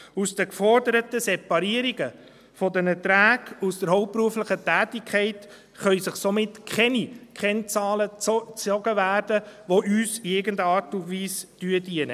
Aus den geforderten Separierungen der Erträge aus der hauptberuflichen Tätigkeit können somit keine Kennzahlen gezogen werden, die uns in irgendeiner Art dienen.